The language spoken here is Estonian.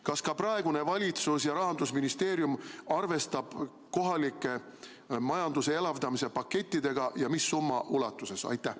Kas ka praegune valitsus ja Rahandusministeerium arvestavad kohaliku majanduse elavdamise pakettidega ja mis summa ulatuses?